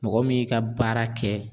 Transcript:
Mɔgɔ min ka baara kɛ